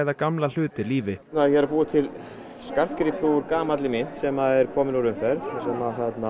gamla hluti lífi ég er að búa til skartgripi úr gamalli mynt sem er komin úr umferð sem